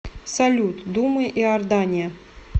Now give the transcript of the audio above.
салют дума иордания